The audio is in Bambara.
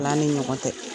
Ala ni ɲɔgɔn cɛ